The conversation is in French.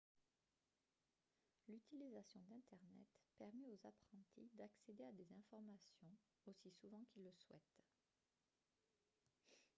l'utilisation d'internet permet aux apprentis d'accéder à des informations aussi souvent qu'ils le souhaitent